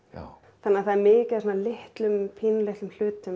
þannig að það er mikið af litlum pínulitlum hlutum